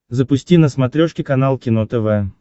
запусти на смотрешке канал кино тв